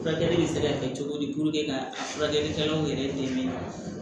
Furakɛli bɛ se ka kɛ cogo di ka furakɛlikɛlaw yɛrɛ dɛmɛ